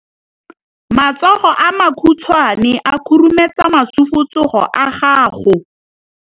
Matsogo a makhutshwane a khurumetsa masufutsogo a gago.